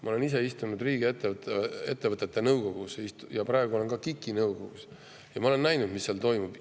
Ma olen ise istunud riigiettevõtete nõukogus, praegu olen ka KIK-i nõukogus, ja ma olen näinud, mis seal toimub.